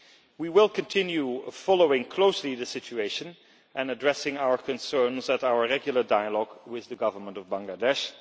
We will continue to follow closely the situation and address our concerns at our regular dialogue with the Government of Bangladesh.